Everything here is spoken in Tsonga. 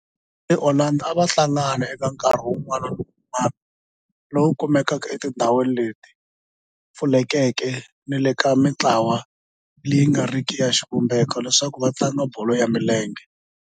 Vafana va le Orlando a va hlangana eka nkarhi wun'wana ni wun'wana lowu kumekaka etindhawini leti pfulekeke ni le ka mintlawa leyi nga riki ya xivumbeko leswaku va tlanga bolo ya milenge.